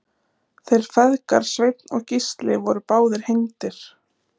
þeir feðgar sveinn og gísli voru báðir hengdir